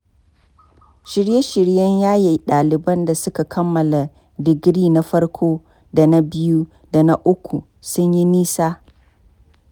Shirye-shiryen yaye ɗaliban da suka kammala digiri na farko da na biyu da na uku sun yi nisa.